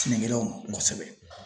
Sɛnɛkɛlaw ma kosɛbɛ.